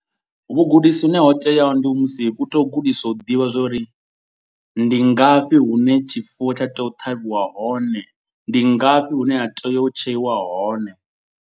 Vhugudisi hune ho teaho ndi musi u tea u gudiswa u ḓivha zwa uri. Ndi ngafhi hune tshifuwo tsha tea u ṱhavhiwa hone. Ndi ngafhi hune ha tea u tsheiwa hone.